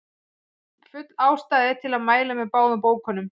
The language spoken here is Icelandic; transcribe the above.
Full ástæða er til að mæla með báðum bókunum.